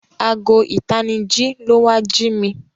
Aago itaniji ló wá jí mí.